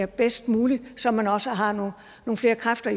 bedst muligt så man også har nogle flere kræfter